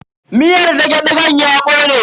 Miyar dage-dagen ya kone.